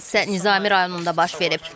Hadisə Nizami rayonunda baş verib.